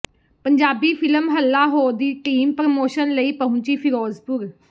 Punjabi film Halla Ho ਦੀ team promotion ਲਈ ਪਹੁੰਚੀ ਫਿਰੋਜ਼ਪੁਰ